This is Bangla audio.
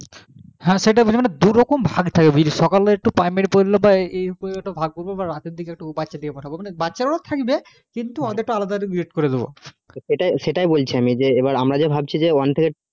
হা সেটাই বলছি মানে দুরকম ভাগ থাকবে বুঝলি সকালে একটু primary পড়লো বা এই একটু ভাগ করবো বা রাতের দিকে একটু বাচ্চাদের কে পড়াবো মানে বাচ্চারাও থাকবে কিন্তু ওদের টা আলাদা করে করে দেবো